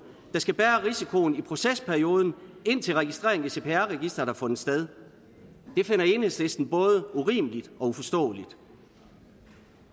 der skal bære risikoen i procesperioden indtil registreringen i cpr registeret har fundet sted det finder enhedslisten både urimeligt og uforståeligt